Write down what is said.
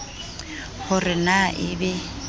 ho re na e be